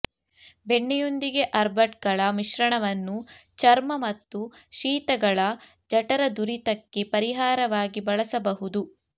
ಬೆಣ್ಣೆಯೊಂದಿಗೆ ಅರ್ಬಟ್ಗಳ ಮಿಶ್ರಣವನ್ನು ಚರ್ಮ ಮತ್ತು ಶೀತಗಳ ಜಠರದುರಿತಕ್ಕೆ ಪರಿಹಾರವಾಗಿ ಬಳಸಬಹುದು